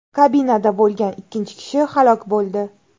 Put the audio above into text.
Kabinada bo‘lgan ikkinchi kishi halok bo‘ldi.